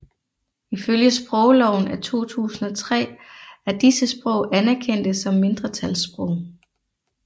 Ifølge sprogloven af 2003 er disse sprog anerkendte som mindretalssprog